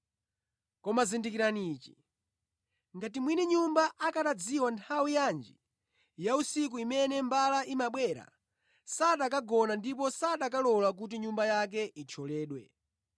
Koma zindikirani ichi: Ngati mwini nyumba akanadziwa nthawi yanji ya usiku imene mbala imabwera, sakanagona ndipo sakanalola kuti nyumba yake ithyoledwe.